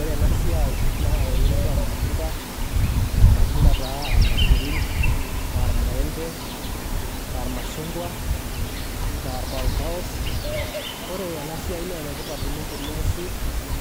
Ore ena esiaai naa eunoto olmatunda aalmatunda ta aalmasurin, almaembe, aalmashungwa, aa olpaopaos, ore ena siaai nee netipat oleng teneesi